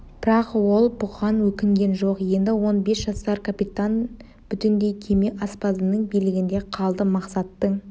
бірақ ол бұған өкінген жоқ енді он бес жасар капитан бүтіндей кеме аспазының билігінде қалды мақсаттың